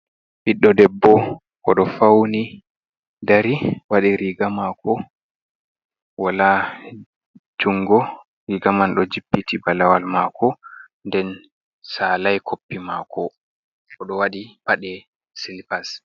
Ɓiɗɗo debbo o ɗo fauni dari, waɗi riga maako, wala jungo riga man ɗo jippiti balawal maako nden salai koppi maako, o ɗo waɗi paɗe silipas.